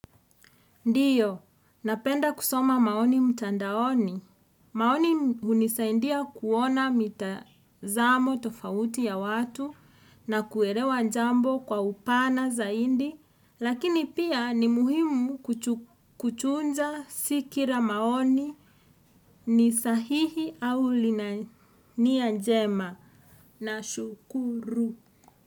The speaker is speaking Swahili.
Ndiyo, napenda kusoma maoni mtandaoni. Maoni hunisaidia kuona mitazamo tofauti ya watu na kuelewa jambo kwa upana zaidi. Lakini pia ni muhimu kuchunja si kila maoni ni sahihi au lina nia njema nashukuru.